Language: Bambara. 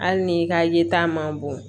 Hali ni ka ye ta man bon